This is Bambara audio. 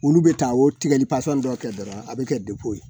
Olu bɛ taa o tigɛli dɔ kɛ dɔrɔn a bɛ kɛ degun ye